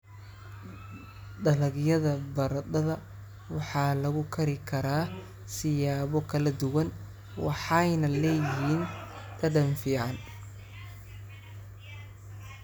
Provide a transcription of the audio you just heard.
Dalagyada baradhada waxaa lagu kari karaa siyaabo kala duwan waxayna leeyihiin dhadhan fiican.